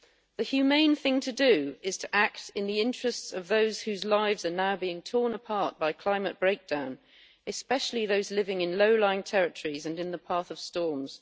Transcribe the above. The humane thing to do is to act in the interests of those whose lives are now being torn apart by climate breakdown, especially those living in low lying territories and in the path of storms